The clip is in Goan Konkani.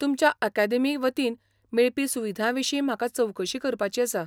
तुमच्या अकादेमी वतीन मेळपी सुविधांविशीं म्हाका चवकशी करपाची आसा.